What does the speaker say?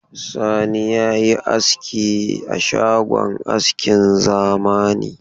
Sani ya yi aski a shagon askin zamani.